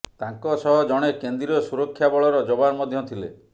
ତାଙ୍କ ସହ ଜଣେ କେନ୍ଦ୍ରୀୟ ସୁରକ୍ଷା ବଳର ଯବାନ ମଧ୍ୟ ଥିଲେ